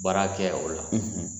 Baara kɛ o la,